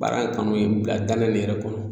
Baara in kanu ye n bila danaya nin yɛrɛ kɔnɔ